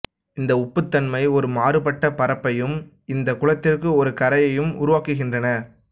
இந்த உப்புத்தன்மை ஒரு மாறுபட்ட பரப்பையும் இந்த குளத்திற்கு ஒரு கரையையும் உருவாக்குகின்றன